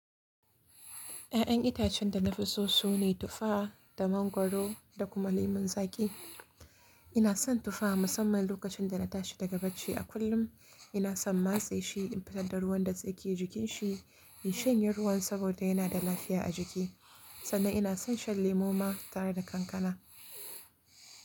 Ya'yan itacen da na fi so su ne tuffa, da mangwaro, da kuma lemon zaƙi. Ina son tuffa musamman lokacin da na tashi daga bacci a kullum. Ina son matse shi in fitar da ruwan dake jikin shi, in shanye ruwan saboda yana da lafiya a jiki. Sannan ina son shan lemu ma, tare da kankana.